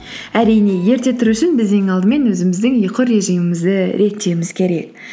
әрине ерте тұру үшін біз ең алдымен өзіміздің ұйқы режимімізді реттеуіміз керек